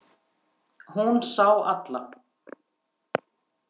Hún sá alla.